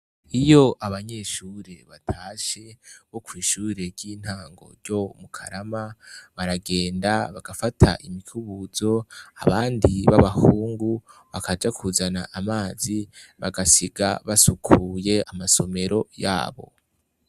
Iyo abanyeshure batashe bo kw'ishure ry'intango ryo mu karama ,baragenda bagafata imikubuzo ,abandi b'abahungu bakaja kuzana amazi, bagasiga basukuye amasomero yabo.